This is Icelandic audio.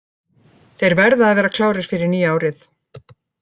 Þeir verða að vera klárir fyrir nýja árið.